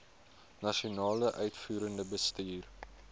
nasionale uitvoerende bestuur